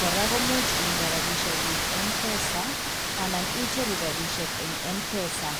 kora ko imuch inde rapiseiguk Mpesa anan icheru rapisiek eng Mpesa.